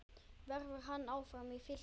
Verður hann áfram í Fylki?